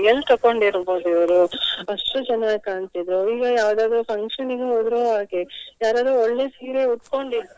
L ತೆಕೊಂಡಿರ್ಬಹುದು ಇವ್ರು ಅಷ್ಟು ಚೆನ್ನಾಗಿ ಕಾಣ್ತಿದೆ. ಈಗ ಯಾವುದಾದ್ರು function ನಿಗೂ ಹೋದ್ರು ಹಾಗೆ ಯಾರಾದ್ರೂ ಒಳ್ಳೆ ಸೀರೆ ಉಡ್ಕೊಂಡಿದ್ರೆ.